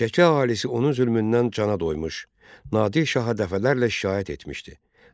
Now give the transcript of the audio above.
Şəki əhalisi onun zülmündən cana doymuş, Nadir şaha dəfələrlə şikayət etmişdi.